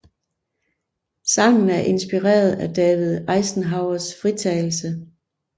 Sangen er inspireret af David Eisenhowers fritagelse